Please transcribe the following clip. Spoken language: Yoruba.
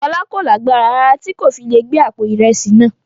Fọlá kò lágbára rárá tí kò fi le gbé àpò ìrẹsì náà.